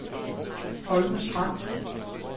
Holme Strand